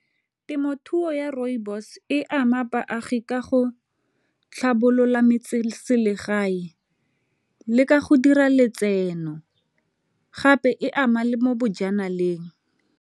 Temothuo ya rooibos e ama baagi ka go tlhabolola metseselegae le ka go dira letseno gape e ama le mo bojanaleng.